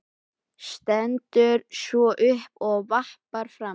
Stendur svo upp og vappar fram.